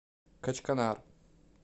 качканар